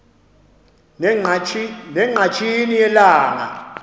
ne ngqatsini yelanga